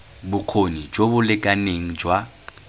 bokgoni jo bo lekaneng jwa